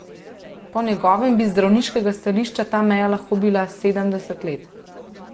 Po njegovem bi z zdravniškega stališča ta meja lahko bila sedemdeset let.